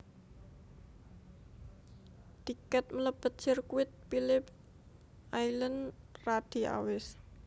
Tiket melebet sirkuit Philip Island radi awis